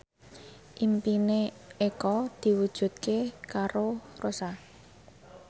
impine Eko diwujudke karo Rossa